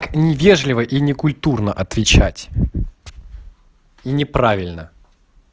невежливо и некультурно отвечать и неправильно